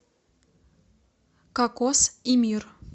кокос и мир